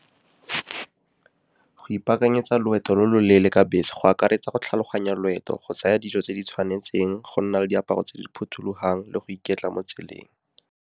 Go ipaakanyetsa loeto lo lo leele ka bese go akaretsa go tlhaloganya loeto, go tsaya dijo tse di tshwanetseng, go nna le diaparo tse di phothulogang le go iketla mo tseleng.